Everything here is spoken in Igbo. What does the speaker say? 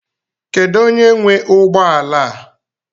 Kedu onye nwe ụgbọ ala a?